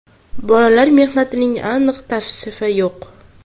Bolalar mehnatining aniq tavsifi yo‘q.